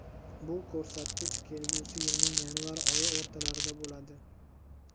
bu ko‘rsatkich kelgusi yilning yanvar oyi o‘rtalarida bo‘ladi.